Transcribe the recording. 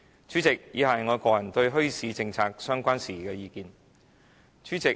主席，以下是我個人對墟市政策相關事宜的意見。